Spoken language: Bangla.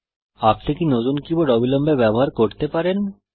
আপনি কি নতুন কীবোর্ড অবিলম্বে ব্যবহার করতে পারেন